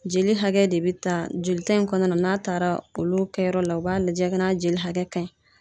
Jeli hakɛ de bɛ ta jolita in kɔnɔna na n'a taara olu kɛyɔrɔ la u b'a lajɛ n'a jeli hakɛ ka ɲi.